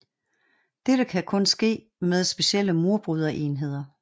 Dette kan kun ske med specielle murbryder enheder